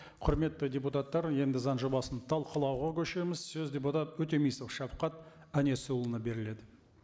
құрметті депутаттар енді заң жобасын талқылауға көшеміз сөз депутат өтемісов шавхат әнесұлына беріледі